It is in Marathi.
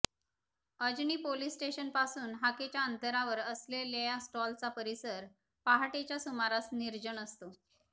अजनी पोलीस स्टेशन पासून हाकेच्या अंतरावर असलेल्या या स्टॉलचा परिसर पहाटेच्या सुमारास निर्जन असतो